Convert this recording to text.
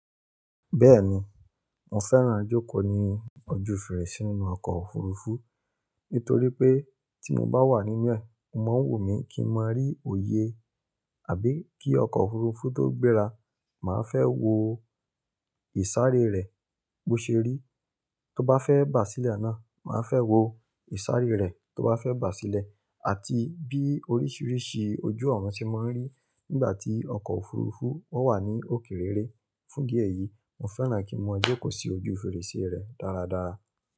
Bẹ́ẹ̀ni, mo fẹ́ràn jókòó ní ojú fèrèsé inú ọkọ̀ òfurufú nítorí pé tí mo bá wà nínú ẹ̀, o máa ń wu mí kí n má rí òye àbí kí ọkọ̀ òfurufú tó gbéra, màá fẹ́ wo ìsàré rẹ̀ bó ṣe rí. Tó bá fẹ́ bà sílẹ̀ ná, màá fẹ́ wo ìsàré rẹ̀ tó bá fẹ́ bà sílẹ̀ àti bí oríṣiríṣi ojú ọ̀run tí mo ń rí nígbà tí ọkọ̀ òfurufú o wà ní òkè rere. Fún idí ẹ̀yì, mo fẹ́ràn kí n máa jókòó sí ojú fèrèsé rẹ̀ dáradára.